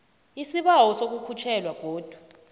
isibawo sokukhutjhelwa godu